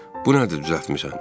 Bu nədir düzəltmisən?